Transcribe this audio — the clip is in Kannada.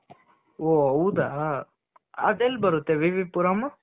ಹೋ ಹೌದಾ ಅದೆಲ್ಲಿ ಬರುತ್ತೆ ವಿ ವಿ ಪುರಂ?